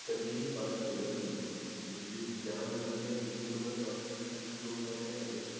कधीही बात केली नव्हते म्हणजेच ज्या मुलाने मुली सोबत बात केली त्या ग्रुपमध्ये